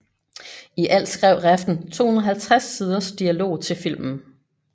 I alt skrev Refn 250 siders dialog til filmen